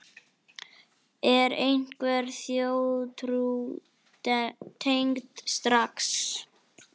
Er einhver þjóðtrú tengd stara?